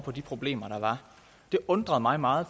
på de problemer der var det undrede mig meget